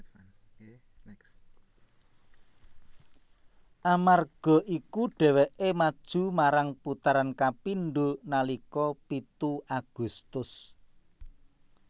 Amerga iku déwéké maju marang putaran kapindo nalika pitu Agustus